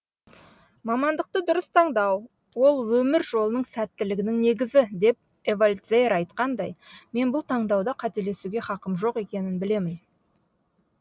мамандықты дұрыс таңдау ол өмір жолының сәттілігінің негізі деп эвальд зеер айтқандай мен бұл таңдауда қателесуге хақым жоқ екенін білемін